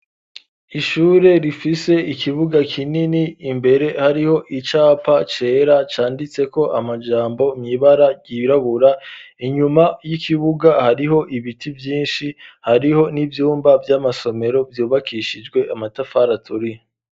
Ishure rifise ikibuga kinini imbere hariho icapa cera canditse ko amajambo mwibara ryirabura inyuma y'ikibuga hariho ibiti vyinshi hariho n'ibyumba by'amasomero vyubakishijwe amatafari aturiye.